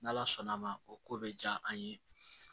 N' ala sɔnn'a ma o ko bɛ diya an ye